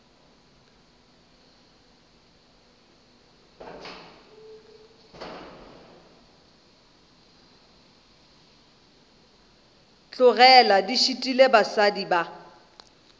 tlogele di šitile basadi ba